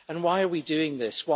Why are we doing this?